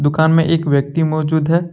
में एक व्यक्ति मौजूद है।